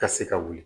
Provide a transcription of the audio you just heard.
Ka se ka wuli